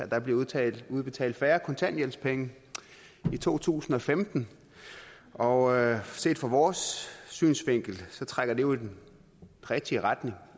der bliver udbetalt udbetalt færre kontanthjælpspenge i to tusind og femten og set fra vores synsvinkel trækker det jo i den rigtige retning